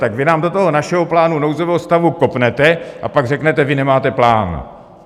Tak vy nám do toho našeho plánu nouzového stavu kopnete a pak řeknete: Vy nemáte plán.